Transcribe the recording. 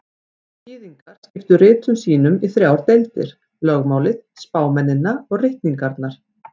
Gyðingar skiptu ritum sínum í þrjár deildir: Lögmálið, spámennina og ritningarnar.